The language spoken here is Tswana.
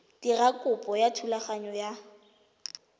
dira kopo ya thulaganyo ya